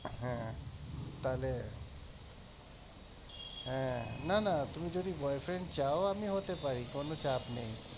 হ্যাঁ তাহলে হ্যাঁ না না তুমি যদি boyfriend চাও তাহলে আমি পারি কোনো চাপ নেই